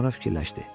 Sonra fikirləşdi.